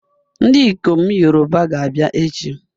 Ndikom Yoruba ga-abia echi